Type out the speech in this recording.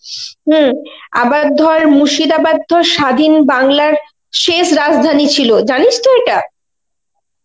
হম আবার ধর মুর্শিদাবাদ তো স্বাধীন বাংলার শেষ রাজধানী ছিল. জানিস তো এটা?